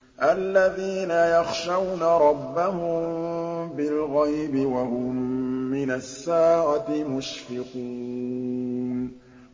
الَّذِينَ يَخْشَوْنَ رَبَّهُم بِالْغَيْبِ وَهُم مِّنَ السَّاعَةِ مُشْفِقُونَ